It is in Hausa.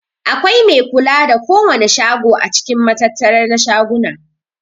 Akwai mai kula da kowana shago a cikin matattara na shaguna.